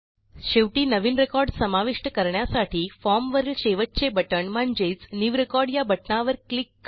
शेवटी नवीन रेकॉर्ड समाविष्ट करण्यासाठी फॉर्म वरील शेवटचे बटण म्हणजेच न्यू रेकॉर्ड या बटणावर क्लिक करा